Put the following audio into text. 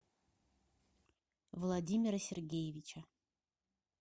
владимира сергеевича